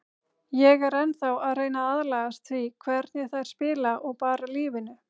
Ég er ennþá að reyna að aðlagast því hvernig þær spila og bara lífinu.